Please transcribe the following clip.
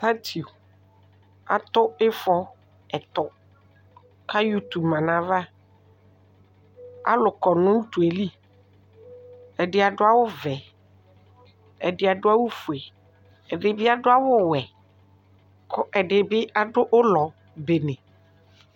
Atsiu atʋ ifɔ ɛtʋ kʋ ayɔ ʋtʋ manʋ ayʋ ava alʋ kɔnʋ utuli ɛdi adʋ awʋvɛ ɛdi adʋ awʋfue ɛdibi adʋ awʋwɛ kʋ ɛdiɛbi adʋ ʋlɔ bene